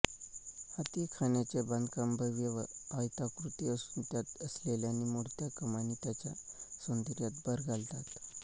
हाथीखान्याचे बांधकाम भव्य व आयताकृती असून त्यात असलेल्या निमुळत्या कमानी त्याच्या सौंदर्यात भर घालतात